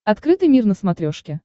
открытый мир на смотрешке